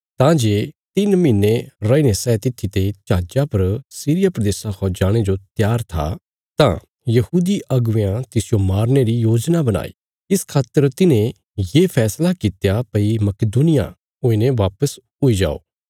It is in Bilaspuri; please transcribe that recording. तां जे तिन्न महीने रैईने सै तित्थी ते जहाजा पर सीरिया प्रदेशा खा जाणे जो त्यार था तां यहूदी अगुवेयां तिसजो मारने री योजना बणाई इस खातर तिन्हें ये फैसला कित्या भई मकिदुनिया हुईने वापस हुई जाओ